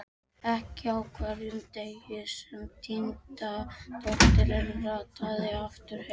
Ekki á hverjum degi sem týnda dóttirin rataði aftur heim.